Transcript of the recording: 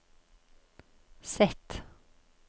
Z